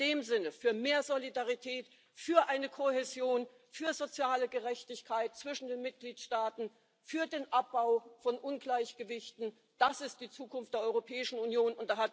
In dem Sinne Für mehr Solidarität, für eine Kohäsion, für soziale Gerechtigkeit zwischen den Mitgliedstaaten, für den Abbau von Ungleichgewichten das ist die Zukunft der Europäischen Union.